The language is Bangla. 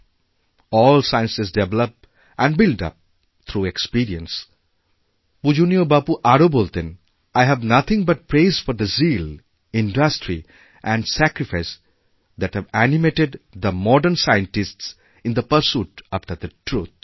all sciences develop and built up through experience পূজনীয়বাপু আরও বলতেন I have nothing but praise for the zeal industry and sacrifice that have animated the modern scientists in the pursuit after the truth